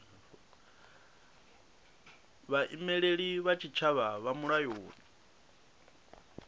vhaimeleli vha tshitshavha vha mulayoni